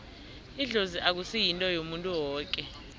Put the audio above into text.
idlozi akusi yinto yomuntu woke